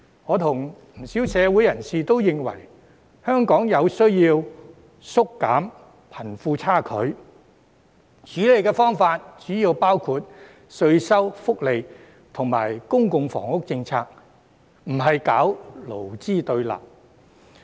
我和不少社會人士都認為，香港有需要縮減貧富差距，而處理方法主要包括稅收、福利及公共房屋政策，而非搞勞資對立。